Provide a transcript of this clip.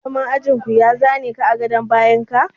Malamin ajin ku ya za ne ka a gadon bayan ka?